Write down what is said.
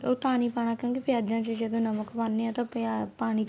ਓ ਪਾਣੀ ਪਾਣਾ ਕਿਉਂਕਿ ਪਿਆਜਾ ਚ ਜਦੋਂ ਨਮਕ ਪਾਨੇ ਆ ਤਾਂ ਪਿਆਜ ਪਾਣੀ